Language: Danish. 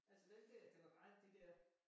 Altså den der det var bare de der